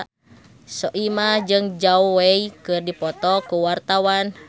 Soimah jeung Zhao Wei keur dipoto ku wartawan